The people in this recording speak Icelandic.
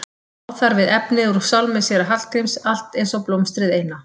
Á þar við efnið úr sálmi séra Hallgríms Allt eins og blómstrið eina.